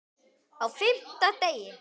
Á FIMMTA DEGI